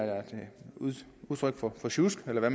udtryk for for sjusk eller hvad